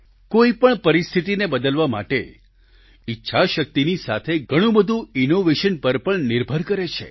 કોઈપણ પરિસ્થિતીને બદલવા માટે ઈચ્છાશક્તિની સાથે ઘણું બધું ઈનોવેશન પર પણ નિર્ભર કરે છે